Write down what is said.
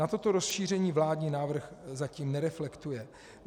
Na toto rozšíření vládní návrh zatím nereflektuje.